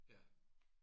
Ja